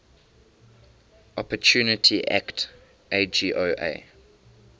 opportunity act agoa